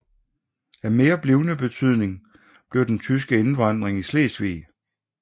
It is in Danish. Af mere blivende betydning blev den tyske indvandring i Slesvig